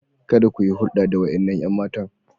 Kada ku yi hulɗa da waɗannan 'yan matan.